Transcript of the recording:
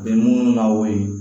Bɛ minnu na o ye